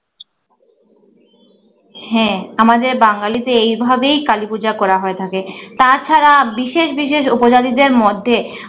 হ্যা, আমাদের বাঙালিদের এইভাবেই কালীপূজা করা হয়ে থাকে তা ছাড়া বিশেষ বিশেষ উপজাতিদের মধ্যে